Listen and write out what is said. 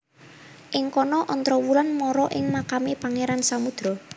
Ing kono Ontrowulan mara ing makame Pangeran Samudro